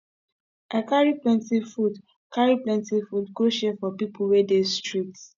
i carry plenty food carry plenty food go share for pipo wey dey street